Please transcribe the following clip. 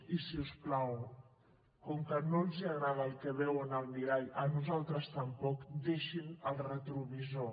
i si us plau com que no els agrada el que veuen al mirall a nosaltres tampoc deixin el retrovisor